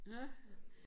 Nåh